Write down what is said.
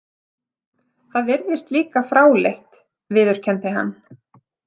Það virðist líka fráleitt, viðurkenndi hann.